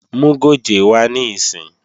Mú gòjé wá níìsín!